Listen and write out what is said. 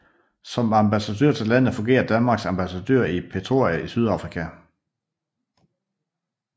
Som ambassadør til landet fungerer Danmarks ambassadør i Pretoria i Sydafrika